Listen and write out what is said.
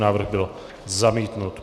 Návrh byl zamítnut.